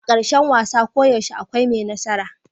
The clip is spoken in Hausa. A karshen wasa koyaushe akwai mai nasara.